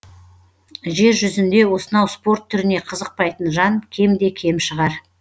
жер жүзінде осынау спорт түріне қызықпайтын жан кемде кем шығар